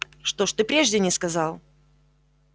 что ж ты прежде не сказал